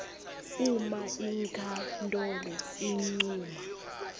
uma inkhantolo incuma